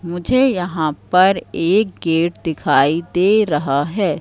मुझे यहां पर एक गेट दिखाई दे रहा है।